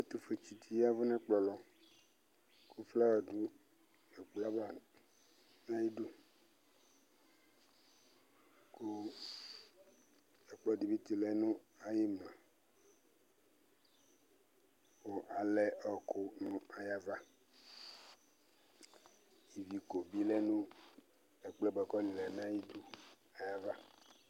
Ɛtʋfuetsɩ dɩ yavʋ nʋ ɛkplɔ lɔ kʋ flawa dʋ ɛkplɔ yɛ ava nʋ ayidu Kʋ ɛkplɔ dɩ bɩ tsɩlɛ nʋ ayʋ ɩmla kʋ alɛ ɔɣɔkʋ nʋ ayava Iviko bɩ lɛ nʋ ɛkplɔ yɛ bʋa kʋ ɔlɛ nʋ ayidu ayava